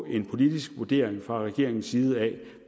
en politisk vurdering fra regeringens side af